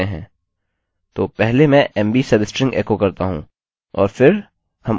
तो पहले मैं mb सबस्ट्रिंग एको करता हूँ